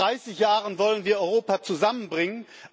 Seit 30 Jahren wollen wir Europa zusammenbringen.